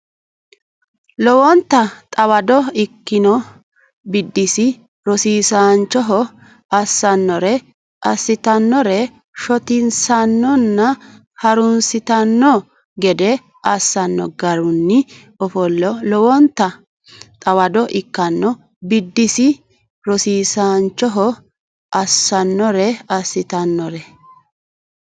Lowonta xawado ikkino biddissi rosiisaanchoho assannore assitannore shotisannonna ha runsitanno gede assanno garinni ofollino Lowonta xawado ikkino biddissi rosiisaanchoho assannore assitannore.